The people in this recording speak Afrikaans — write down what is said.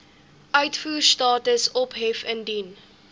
uitvoerstatus ophef indien